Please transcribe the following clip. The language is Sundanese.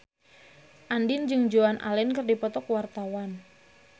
Andien jeung Joan Allen keur dipoto ku wartawan